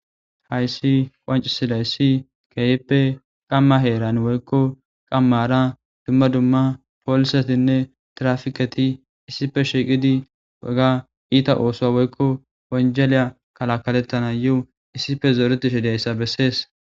Haysika qoncisizays keehippe qama heran woyko qamara dumma dumma polisetinne trapiket issippe shiiqid oga iita osuwa woyko wanjaliya kalakaletanayo issippe zoretishe dizaysa beses.